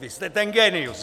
Vy jste ten génius.